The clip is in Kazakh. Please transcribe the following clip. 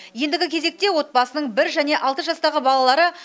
ендігі кезекте отбасының бір және алты жастағы балалары